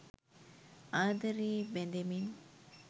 ආදරයේ බැ‍ඳෙමින්